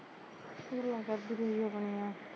ਗੱਲਆ ਕਰਦੀ ਰਹੀ ਆਪਣੀਆ